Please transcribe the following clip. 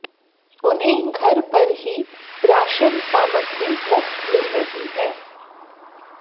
उन्हें घर पर ही राशन सामग्री मुफ्त मिल रही है